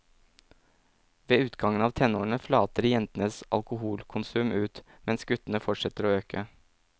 Ved utgangen av tenårene flater jentenes alkoholkonsum ut, mens guttenes fortsetter å øke.